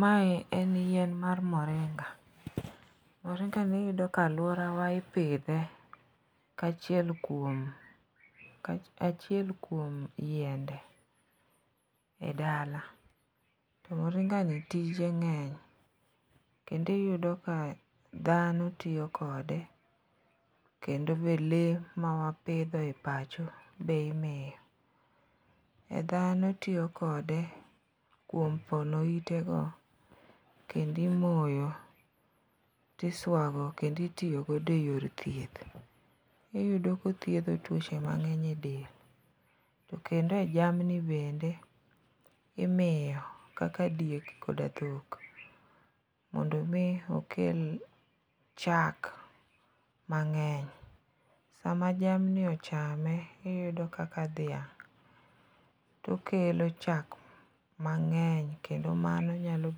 Mae en yien mar moringa. Moringani iyudo ka alworawa ipidhe kaachiel kuom yiende e dala to moringani tije ng'eny kendo iyudo ka dhano tiyo kode kendo be lee mawapidho e pacho be imiyo. E dhano tiyo kode kuom pono itego kendo imoyo, tiswago kendo itiyo godo e yore thieth. Iyudo kothiedho tuoche mang'eny e del, to kendo e jamni bende imiyo kaka diek koda dhok mondo omi okel chak mang'eny, sama jamni ochame, iyudo kaka dhiang' to okelo chak mang'eny kendo mano nyalo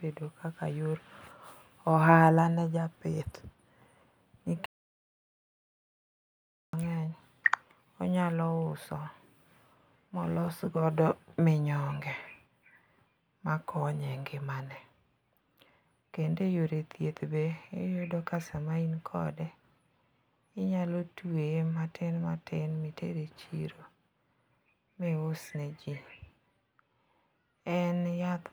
keto kaka yor ohala ne japith, nikech onyalo uso molos godo minyonge makonye e ngimane, kendo eyore thieth be, iyudo ka sama in kode, inyalo tweye matin matin miter e chiro mius ne ji. En yath .